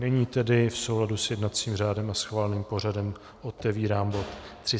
Nyní tedy v souladu s jednacím řádem a schváleným pořadem otevírám bod